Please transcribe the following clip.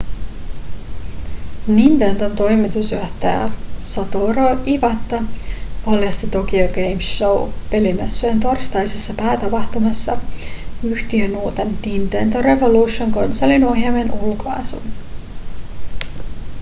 nintendon toimitusjohtaja satoru iwata paljasti tokyo game show pelimessujen torstaisessa päätapahtumassa yhtiön uuden nintendo revolution konsolin ohjaimen ulkoasun